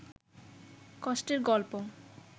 কষ্টের গল্প